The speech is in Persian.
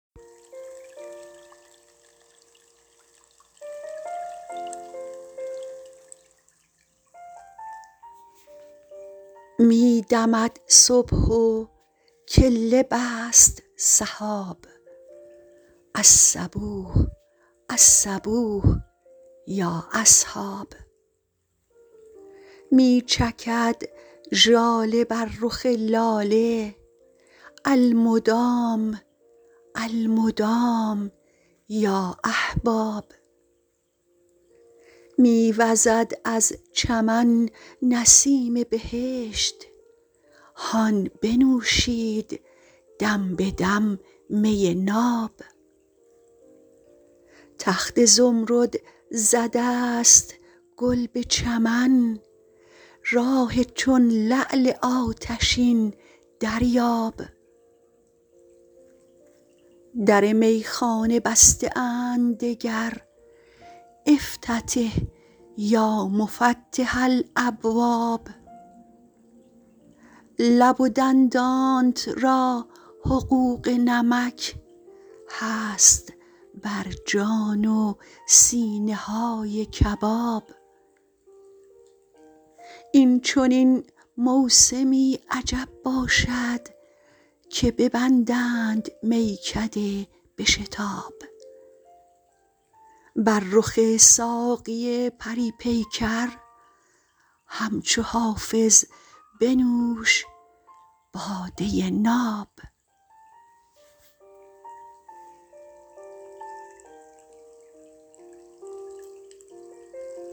می دمد صبح و کله بست سحاب الصبوح الصبوح یا اصحاب می چکد ژاله بر رخ لاله المدام المدام یا احباب می وزد از چمن نسیم بهشت هان بنوشید دم به دم می ناب تخت زمرد زده است گل به چمن راح چون لعل آتشین دریاب در میخانه بسته اند دگر افتتح یا مفتح الابواب لب و دندانت را حقوق نمک هست بر جان و سینه های کباب این چنین موسمی عجب باشد که ببندند میکده به شتاب بر رخ ساقی پری پیکر همچو حافظ بنوش باده ناب